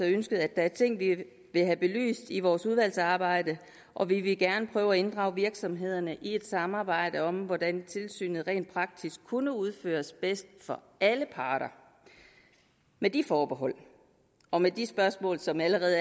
ønsket at der er ting vi vil have belyst i vores udvalgsarbejde og vi vil gerne prøve at inddrage virksomhederne i et samarbejde om hvordan tilsynet rent praktisk kunne udføres bedst for alle parter med de forbehold og med de spørgsmål som det allerede